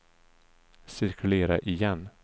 cirkulera igen